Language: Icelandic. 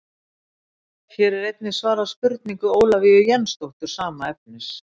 hér er einnig svarað spurningu ólafíu jensdóttur sama efnis